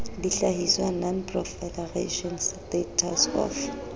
dihlahiswa non proliferation status of